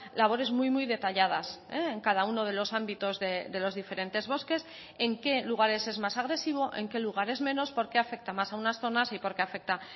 labores muy muy detalladas en cada uno de los ámbitos de los diferentes bosques en qué lugares es más agresivo en qué lugares menos por qué afecta más a unas zonas y por qué afecta